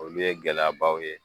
Olu ye gɛlɛyabaw ye